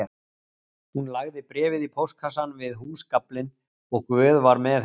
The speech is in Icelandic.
Hún lagði bréfið í póstkassann við húsgaflinn og Guð var með henni